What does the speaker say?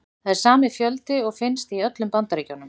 Það er sami fjöldi og finnst í öllum Bandaríkjunum.